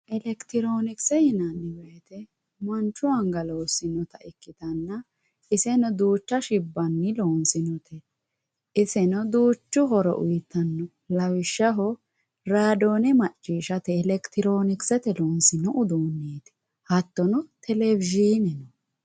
Electironkse yinani woyite manchu anga loosinota ikitana iseno duucha shibani lonsonite iseno duuchu horo uyitano yaate lawishshaho raadone macishate electronksete uduunet yaate hatono televsine.